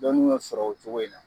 Dɔnni sɔrɔ o cogo in na.